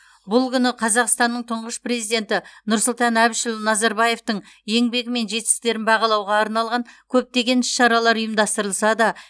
бұл күні қазақстанның тұңғыш президенті нұрсұлтан әбішұлы назарбаевтың еңбегі мен жетістіктерін бағалауға арналған көптеген іс шаралар ұйымдастырылса да